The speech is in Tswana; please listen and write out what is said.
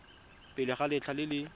pele ga letlha le le